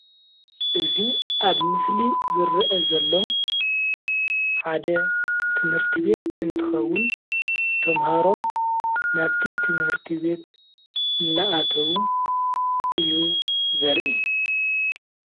እዚ ኣብ ምስሊ ዝርአ ዘሎ ሓደ ትምህርቲ ቤት እንትከውን ተማሃሮ ናብ እቲ ትምህርቲ ቤት እናኣተዉ እዩ ዘርኢ፡፡